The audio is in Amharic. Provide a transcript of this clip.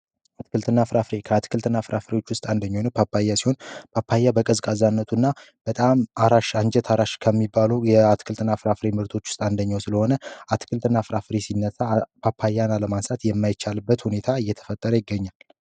አትክልት እና ፍራፍሬ አትክልት እና ፍራፍሬ ከሆኑት ውስጥ አንደኛው ፓፓያ ሲሆን በቀዝቃዛነቱና በጣም አራት አንጀት ከሚባሉ የአትክልትና ፍራፍሬ ምርቶች ውስጥ አንደኛው ስለሆነ አትክልትና ፍራፍሬ ሲነሳ አባያት የማይቻልበት ሁኔታ እየተፈጠረ ይገኛል።